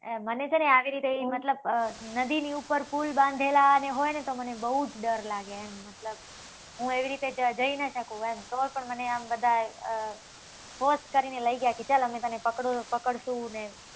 મને છે ને આંગળી કરી. મતલબ અમ નદીની ઉપર પુલ બાંધેલા હોય ને તો મને બવ જ ડર લાગે એમ. મતલબ, હું એવી રીતે ત્યાંં જઈ ન શકુ એમ. તો પણ મને આમ બધા અમ ફોર્સ કરીને લઈ ગયા કે ચલ અમે તને પકડુ, પકડશું ને,